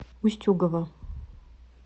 устюгова